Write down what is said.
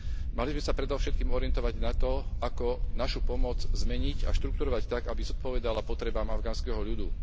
Mali by sme sa predovšetkým orientovať na to, ako našu pomoc zmeniť a štruktúrovať tak, aby zodpovedala potrebám afganského ľudu.